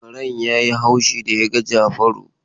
Karen ya yi haushi da ya ga Jafaru.